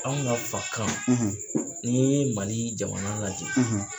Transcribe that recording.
Anw ka fakan , ni ye Mali jamana lajɛ